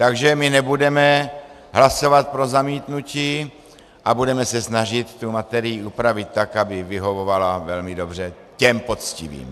Takže my nebudeme hlasovat pro zamítnutí a budeme se snažit tu materii upravit tak, aby vyhovovala velmi dobře těm poctivým.